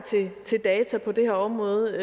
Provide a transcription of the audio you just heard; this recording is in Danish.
til data på det her område